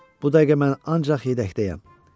Bu dəqiqə mən ancaq yedəkdəyəm.